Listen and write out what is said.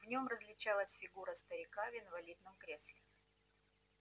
в нем различалась фигура старика в инвалидном кресле